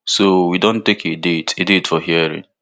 so we don take a a date for hearing